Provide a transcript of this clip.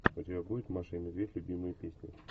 у тебя будет маша и медведь любимые песни